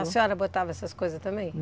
A senhora botava essas coisas também?